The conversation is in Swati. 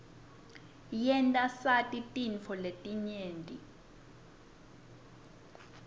yenta sati tintfo letinyenti